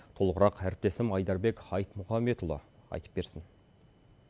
толығырақ әріптесім айдарбек айтмұхамбетұлы айтып берсін